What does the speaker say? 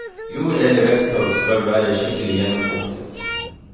Jord eller veksttorv skal være skikkelig gjennomfuktet.